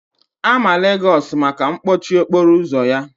A ma Legosu maka mkpọchi okporo ụzọ ya.